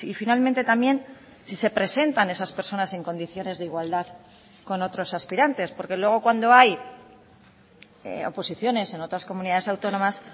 finalmente también si se presentan esas personas en condiciones de igualdad con otros aspirantes porque luego cuando hay oposiciones en otras comunidades autónomas